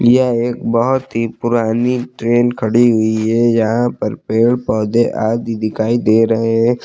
यह एक बहोत ही पुरानी ट्रेन खड़ी हुई है यहां पर पेड़ पौधे आदि दिखाई दे रहे हैं।